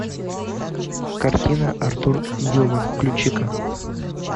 картина артур ньюман включи ка